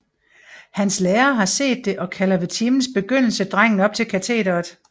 Hans lærer har set det og kalder ved timens begyndelse drengen op til katederet